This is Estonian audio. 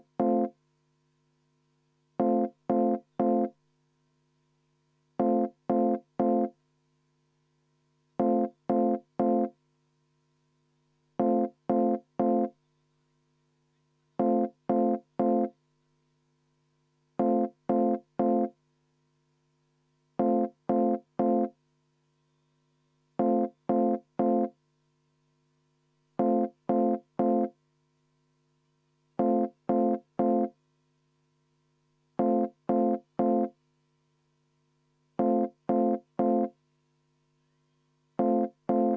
V a h e a e g